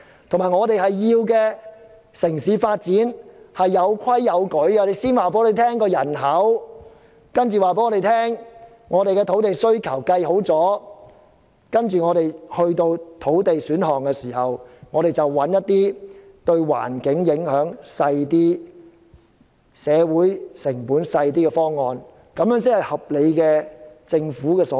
再者，我們要求城市有規有矩的發展，請先告訴我們香港會有多少人口，計算好土地需求，作出造地選項後，再找出一些對環境及社會成本影響較少的方案，這才是政府的合理作為。